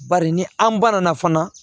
Bari ni an banana fana